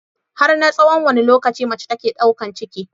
Har na tsahon wanne lokaci mace take ɗaukan ciki?